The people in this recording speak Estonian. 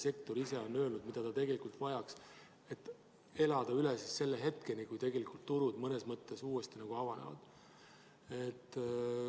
Sektor ise on öelnud, et ta vajaks seda, et elada ära hetkeni, kui turud mõnes mõttes uuesti avanevad.